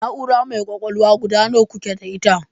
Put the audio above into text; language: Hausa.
Na'ura mai kwakwalwa guda nawa kuke da ita?